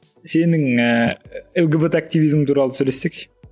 сенің ііі лгбт активизм туралы сөйлессек ше